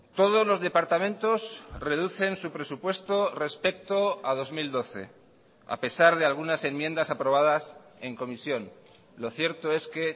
todos los departamentos reducen su presupuesto respecto a dos mil doce a pesar de algunas enmiendas aprobadas en comisión lo cierto es que